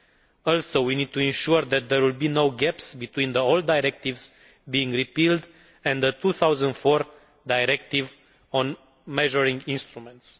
We also need to ensure that there will be no gaps between the old directives being repealed and the 2004 directive on measuring instruments.